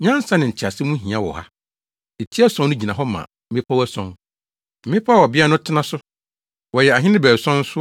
“Nyansa ne ntease ho hia wɔ ha. Eti ason no gyina hɔ ma mmepɔw ason, mmepɔw a ɔbea no tena so. Wɔyɛ ahene baason nso